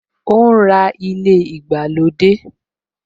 O ń ra ilé ìgbàlódé